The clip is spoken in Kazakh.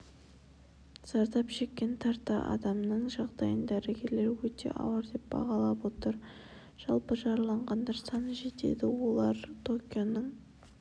зардап шеккен тарта адамның жағдайын дәрігерлер өтеауыр деп бағалап отыр жалпы жараланғандар саны жетеді олар токионың